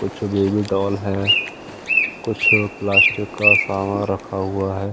कुछ baby doll है कुछ प्लास्टिक का सामान रखा हुआ है।